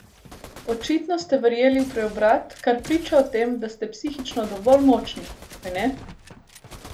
Očitno ste verjeli v preobrat, kar priča o tem, da ste psihično dovolj močni, kajne?